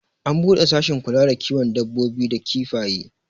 an bude sashin kula da kiwon dabbobi da kifaye